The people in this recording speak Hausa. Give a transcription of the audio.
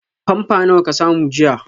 Pamper nawa ka samu jiya?